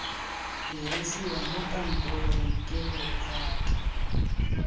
dirisiwa mo kantorong ke lephata